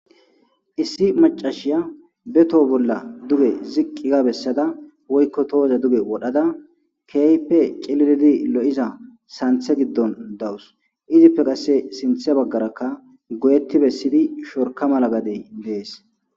Issi maccasiya be toho bolla duge ziqqi ga bessada woykko tohoza duge wodhada keehippe cililidi lo'iza santhe giddon dawus izippe sinthe baggarakka goyeti bessidi shorka gade de'ees.